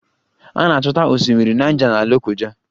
A na-achọta Osimiri Naịja na Lokoja